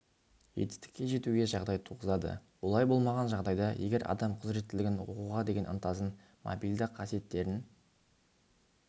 жетістікке жетуге жағдай туғызады олай болмаған жағдайда егер адам құзіреттілігін оқуға деген ынтасын мобильді қасиеттерін